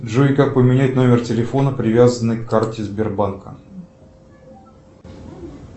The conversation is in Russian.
джой как поменять номер телефона привязанный к карте сбербанка